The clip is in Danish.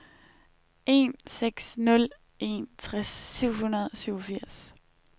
en seks nul en tres syv hundrede og syvogfirs